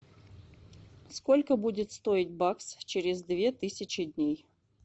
сколько будет стоить бакс через две тысячи дней